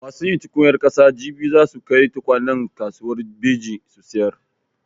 Masu yin tukunyar ƙasa jibi za su kai tukwanen kasuwar Beji su sayar.